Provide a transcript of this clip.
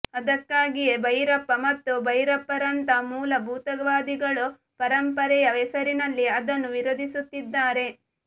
ಅದಕ್ಕಾಗಿಯೇ ಭೈರಪ್ಪ ಮತ್ತು ಭೈರಪ್ಪರಂತ ಮೂಲಭೂತವಾದಿಗಳು ಪರಂಪರೆಯ ಹೆಸರಿನಲ್ಲಿ ಅದನ್ನು ವಿರೋಧಿಸುತ್ತಿದ್ದಾರೆ